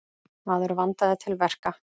Maður vandaði til verka.